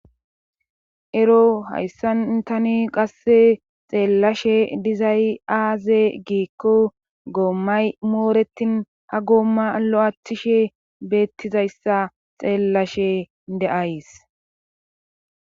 ero hayssan tani qasse xeellashe dizay aaze giikko goommay mooretin ha goomma lo7athishe beettizayssa xeellashe de7ays